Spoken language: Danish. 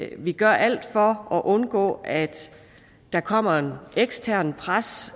vi gør alt for at undgå at der kommer et eksternt pres